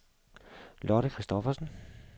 Lotte Christophersen